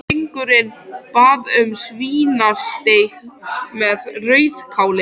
Drengurinn bað um svínasteik með rauðkáli.